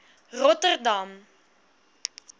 rotterdam